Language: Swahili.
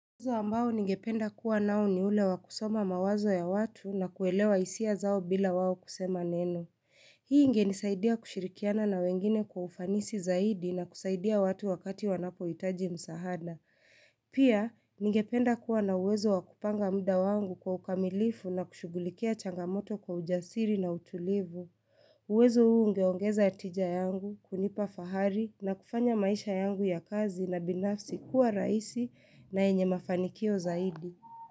Uwezo ambao ningependa kuwa nao ni ule wa kusoma mawazo ya watu na kuelewa hisia zao bila wawo kusema neno. Hii ingenisaidia kushirikiana na wengine kwa ufanisi zaidi na kusaidia watu wakati wanapohitaji msaada. Pia ningependa kuwa na uwezo wa kupanga muda wangu kwa ukamilifu na kushugulikia changamoto kwa ujasiri na utulivu. Uwezo huu ungeongeza tija yangu, kunipa fahari na kufanya maisha yangu ya kazi na binafsi kuwa rahisi na yenye mafanikio zaidi.